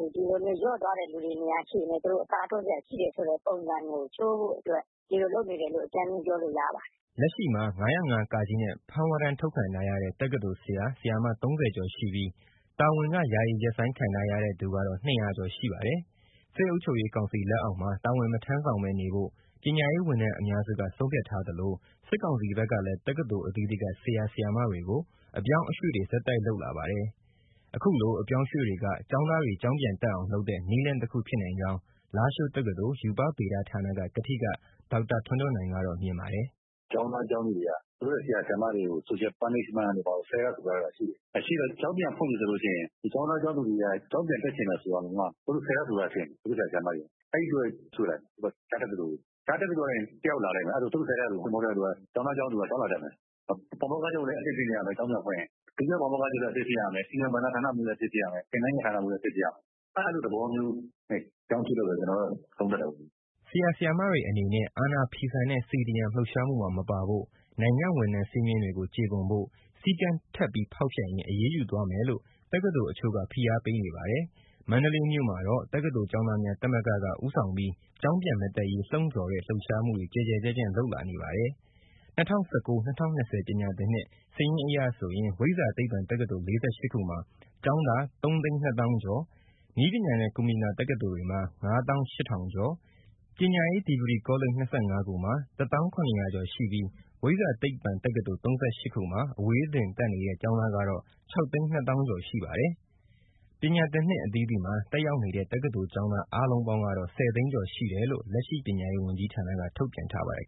၊ လျော့သွားတဲ့ သူတွေနေရာကိုလည်း သူတို့အစားထိုးစရာ ရှိတယ်ဆိုတဲ့ ပုံစံကို ချိုးဖို့အတွက် ဒီလိုလုပ်နေတယ်လို့ အကြိမ်းဖျင်း ပြောလို့ရပါတယ်။” လက်ရှိမှာ ၅၀၅ (က) နဲ့ ဖမ်းဝရမ်း ထုတ်ခံထားရတဲ့ တက္ကသိုလ်ဆရာ၊ ဆရာမ ၃၀ ကျော်ရှိပြီး၊ တာဝန်က ယာယီရပ်ဆိုင်းခံထားရတဲ့ သူကတော့ ၂၀၀ ကျော်ရှိပါတယ်။ စစ်အုပ်ချုပ်ရေးကောင်စီ လက်အောက်မှာ တာဝန်မထမ်းဆောင်ဘဲနေဖို့ ပညာရေးဝန်ထမ်းအများစုက ဆုံးဖြတ်ထားသလို စစ်ကောင်စီ ဘက်ကလည်း တက္ကသိုလ် အသီးသီးက ဆရာ၊ ဆရာမတွေကို အပြောင်းအရွှေ့တွေ ဆက်တိုက်လုပ်လာပါတယ်။ အခုလို အပြောင်းအရွှေတွေက ကျောင်းသားတွေ ကျောင်းပြန်လာအောင်လုပ်တဲ့ နည်းလမ်းတခုဖြစ်နိုင်ကြောင်း လားရှိုးတက္ကသိုလ် ရူပဗေဒဌာနက ကထိက ဒေါက်တာထွန်းထွန်းနိုင်က ပြောပါတယ်။ “ ကျောင်းသား ကျောင်းသူတွေဟာ သူတို့ ဆရာ၊ ဆရာမတွေကို social punishment တို့ ဆဲထားဆိုထားတာတွေရှိတယ်၊ ရှိတော့ ကျောင်းပြန်ဖွင့်ပြီဆိုရင် ကျောင်းသား၊ ကျောင်းသူတွေဟာ ကျောင်းပြန်တက်ချင်ရင်တောင် သူတို့ဆဲထား ဆိုထားတာတွေ ဖြစ်နေတယ် သူတို့ဆရာတွေကို။ အဲဒီအတွက် ရွှေ့လိုက်တယ် တခြားတက္ကသိုလ်ကို။ တခြားတက္ကသိုလ်ကနေ တယောက်လာလိမ့်မယ် အဲဒါဆိုရင် သူတို့ဆဲထားဆိုထားသူ မဟုတ်တဲ့အတွက် ကျောင်းသား ကျောင်းသူဟာ ကျောင်းလာတက်မယ်၊ ပါမောက္ခချုပ်လည်း အသစ်ဖြစ်နေရမယ် ကျောင်းပြန်တက်ရင်၊ ဒုတိယ ပါမောက္ခချုပ်လည်း အသစ်ဖြစ်ရမယ်၊ စီမံဘဏ္ဍာဌာနလည်း အသစ်ဖြစ်ရမယ်၊ သင်တန်းရေးရာဌာနမှုးလည်း အသစ်ဖြစ်ရမယ်။ အဲလိုသဘောမျိုးနဲ့ အပြောင်းအရွှေ့ လုပ်တယ်လို့ ကျနော်ကတော့ သုံးသပ်တယ်ပေါ့။” အာဏာဖီဆန့်တဲ့ CDM လှုပ်ရှားမှုမှာမပါဖို့၊ နိုင်ငံ့ဝန်ထမ်း စည်းမျဉ်းတွေကို ကျေပွန်ဖို့ ၊ စည်းကမ်းထပ်ပြီး ဖောက်ဖျက်ရင် အရေးယူသွားမယ်လို့ တက္ကသိုလ်တချို့က ဖိအားပေးနေပါတယ်။ မန္တလေးမြို့မှာ တက္ကသိုလ်ကျောင်းသားများသမဂ္ဂ ( တကသ) ဦးဆောင်ပြီး ကျောင်းပြန်မတက်ရေး လှုံ့ဆော်တဲ့ လှုပ်ရှားမှုတွေ ကျယ်ကျယ်ပြန့်ပြန့် လုပ်လာနေပါတယ်။ ၂၀၁၉- ၂၀၂၀ ပညာသင်နှစ် စာရင်းအရဆိုရင် ဝိဇ္ဇာသိပ္ပံတက္ကသိုလ် ၄၈ခုမှာ ကျောင်းသား ၃၂၀၀၀၀ ကျော်၊ နည်းပညာနဲ့ ကွန်ပျူတာ တက္ကသိုလ်တွေမှာ ၅၈၀၀၀ ကျော်၊ ပညာရေး ဒီဂရီကောလိပ် ၂၅ ခုမှာ ၁၀၇၀၀ ကျော်ရှိပြီး ဝိဇ္ဇာသိပ္ပံတက္ကသိုလ် ၃၈ ခုမှာ အဝေးသင်တက်နေတဲ့ ကျောင်းသားကတော့ ၆၂၀၀၀၀ ကျော်ရှိပါတယ်။ ပညာသင်နှစ်အသီးသီးမှာ တက်ရောက်နေတဲ့ တက္ကသိုလ်ကျောင်းသား အားလုံးပေါင်းကတော့ ၁၀ သိန်းကျော်ရှိတယ်လို့ လက်ရှိ ပညာရေးဝန်ကြီးဌာနက ထုတ်ပြန်ထားပါတယ်